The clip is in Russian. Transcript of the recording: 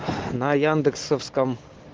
на яндесовском